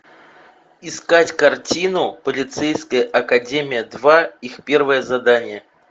искать картину полицейская академия два их первое задание